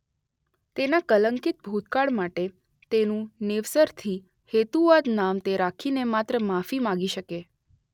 તેના કલંકિત ભૂતકાળ માટે તેનું નવેસરથી હેતુવાદ નામ તે રાખીને માત્ર માફી માગી શકે.